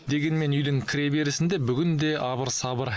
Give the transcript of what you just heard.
дегенмен үйдің кіреберісінде бүгін де абыр сабыр